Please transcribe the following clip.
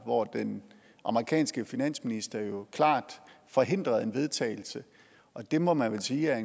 hvor den amerikanske finansminister jo klart forhindrede en vedtagelse og det må man vel sige er